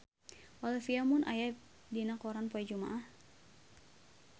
Olivia Munn aya dina koran poe Jumaah